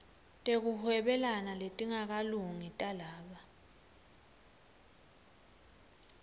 tekuhwebelana letingakalungi talaba